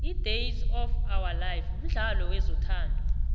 idays of ourlife mdlalo wezothando